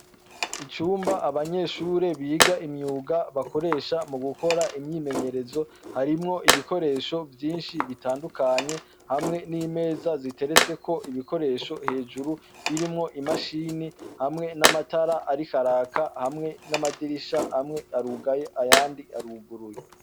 Icumba abanyeshure biga imyuga bakoresha mu gukora imyimenyerezo harimwo ibikoresho vyinshi bitandukanye hamwe n'imeza ziteretse ko ibikoresho hejuru birimwo imashini hamwe n'amatara ari karaka hamwe n'amadirisha hamwe arugaye ayandi aruguruye.